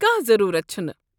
کانٛہہ ضروٗرت چھنہٕ۔